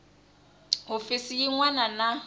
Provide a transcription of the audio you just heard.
hofisi yin wana na yin